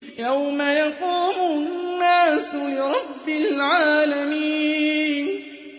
يَوْمَ يَقُومُ النَّاسُ لِرَبِّ الْعَالَمِينَ